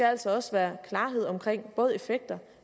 altså også være klarhed om både effekter